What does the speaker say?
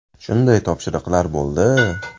Shunday topshiriqlar bo‘ldi.